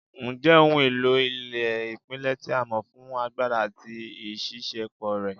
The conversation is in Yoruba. Nja jẹ ohun elo ile ipilẹ ti a mọ fun agbara ati iṣiṣẹpọ rẹ